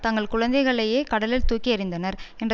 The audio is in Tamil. தங்கள் குழந்தைகளையே கடலில் தூக்கி எறிந்தனர் என்ற